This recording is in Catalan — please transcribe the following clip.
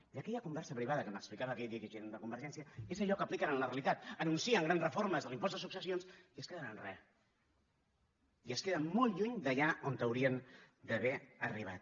i aquella conversa privada que m’explicava aquell dirigent de convergència és allò que apliquen en la realitat anuncien grans reformes de l’impost de successions i es queden en re i es queden molt lluny d’allà on haurien d’haver arribat